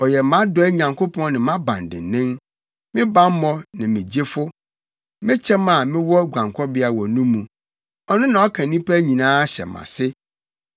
Ɔyɛ mʼadɔe Nyankopɔn ne mʼabandennen, me bammɔ ne me gyefo, me kyɛm a mewɔ guankɔbea wɔ no mu, ɔno na ɔka nnipa hyɛ mʼase.